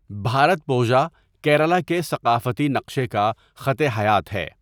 بھارتپوژا کیرالہ کے ثقافتی نقشے کا خط حیات ہے۔